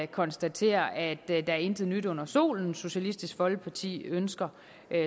konstatere at der intet nyt er under solen socialistisk folkeparti ønsker